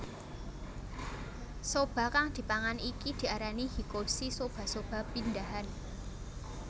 Soba kang dipangan iki diarani Hikkoshi soba soba pindahan